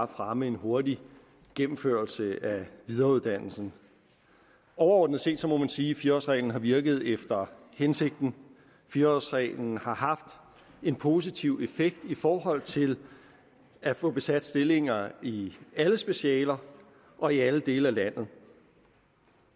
at fremme en hurtig gennemførelse af videreuddannelsen overordnet set må man sige at fire årsreglen har virket efter hensigten fire årsreglen har haft en positiv effekt i forhold til at få besat stillinger i alle specialer og i alle dele af landet